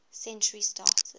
century started